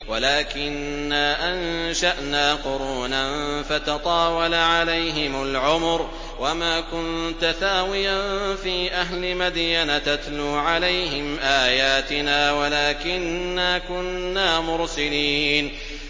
وَلَٰكِنَّا أَنشَأْنَا قُرُونًا فَتَطَاوَلَ عَلَيْهِمُ الْعُمُرُ ۚ وَمَا كُنتَ ثَاوِيًا فِي أَهْلِ مَدْيَنَ تَتْلُو عَلَيْهِمْ آيَاتِنَا وَلَٰكِنَّا كُنَّا مُرْسِلِينَ